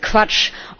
Das ist Quatsch.